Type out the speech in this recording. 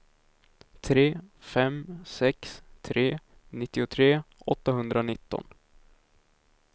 tre fem sex tre nittiotre åttahundranitton